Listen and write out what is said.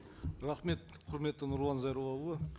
рахмет құрметті нұрлан зайроллаұлы